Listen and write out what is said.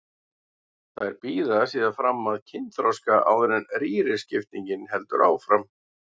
Þær bíða síðan fram að kynþroska áður en rýriskiptingin heldur áfram.